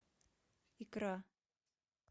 икра